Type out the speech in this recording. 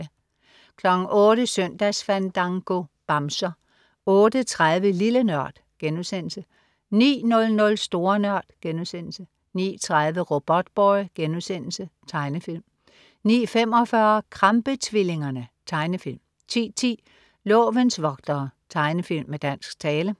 08.00 Søndagsfandango. Bamser 08.30 Lille Nørd* 09.00 Store Nørd* 09.30 Robotboy.* Tegnefilm 09.45 Krampe-tvillingerne. Tegnefilm 10.10 Lovens vogtere. Tegnefilm med dansk tale